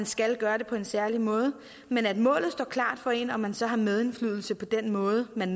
skal gøre det på en særlig måde men at målet står klart for en og at man så har medindflydelse på den måde man